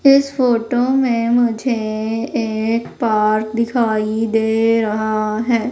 इस फोटो में मुझे एक पार्क दिखाई दे रहा है।